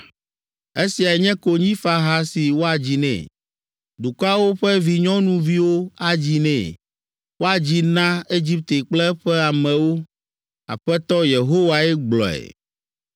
“Esiae nye konyifaha si woadzi nɛ. Dukɔawo ƒe vinyɔnuviwo adzii nɛ. Woadzii na Egipte kple eƒe amewo. Aƒetɔ Yehowae gblɔe.”